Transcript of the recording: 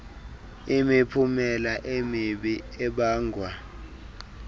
imiphumela emibi ebangwa